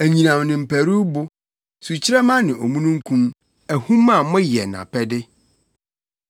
anyinam ne mparuwbo, sukyerɛmma ne omununkum, ahum a moyɛ nʼapɛde,